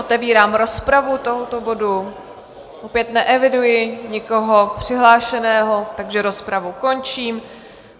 Otevírám rozpravu tohoto bodu, opět neeviduji nikoho přihlášeného, takže rozpravu končím.